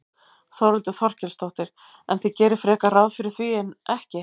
Þórhildur Þorkelsdóttir: En þið gerið frekar ráð fyrir því en ekki?